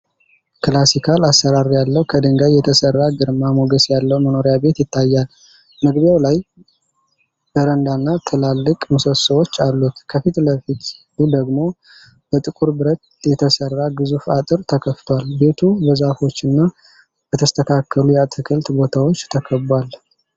ክላሲካል አሠራር ያለው፣ ከድንጋይ የተሠራ፣ ግርማ ሞገስ ያለው መኖሪያ ቤት ይታያል። መግቢያው ላይ በረንዳና ትላልቅ ምሰሶዎች አሉት፤ ከፊት ለፊቱ ደግሞ በጥቁር ብረት የተሠራ ግዙፍ አጥር ተከፍቷል። ቤቱ በዛፎችና በተስተካከሉ የአትክልት ቦታዎች ተከቧል።